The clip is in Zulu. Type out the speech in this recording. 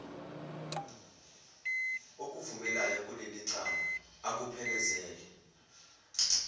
okuvumelayo kulelicala akuphelezele